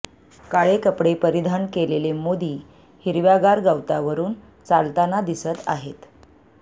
काळे कपडे परिधान केलेले मोदी हिरव्यागार गवतावरून चालताना दिसत आहेत